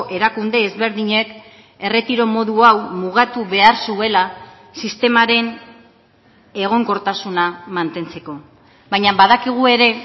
erakunde ezberdinek erretiro modu hau mugatu behar zuela sistemaren egonkortasuna mantentzeko baina badakigu ere